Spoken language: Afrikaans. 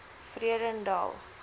vredendal